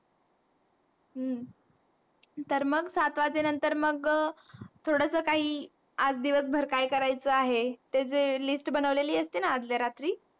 तर मग सात वाजे नंतर मग थोडस काही आज दिवस भर काय करायेच आहे? ते जे List बनवलेली असतेन आर्ध्या रात्री,